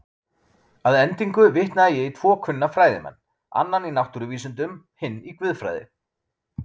Að endingu vitnaði ég í tvo kunna fræðimenn, annan í náttúruvísindum, hinn í guðfræði.